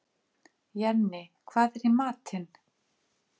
Jenni, hvað er í matinn?